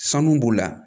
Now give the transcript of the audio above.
Sanu b'u la